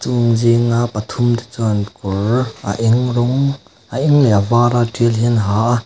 heng zinga pathum te chuan kawr a eng rawng a eng leh a var a tial hi an ha a.